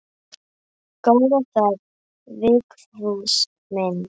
Góða ferð Vigfús minn.